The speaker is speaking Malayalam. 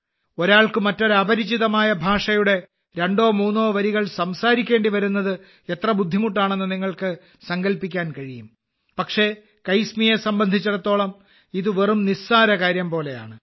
ഒരാൾക്ക് മറ്റൊരു അപരിചിതമായ ഭാഷയുടെ രണ്ടോ മൂന്നോ വരികൾ സംസാരിക്കേണ്ടിവരുന്നത് എത്ര ബുദ്ധിമുട്ടാണെന്ന് നിങ്ങൾക്ക് സങ്കൽപ്പിക്കാൻ കഴിയും പക്ഷേ കൈസ്മിയെ സംബന്ധിച്ചിടത്തോളം ഇത് വെറും നിസ്സാരകാര്യം പോലെയാണ്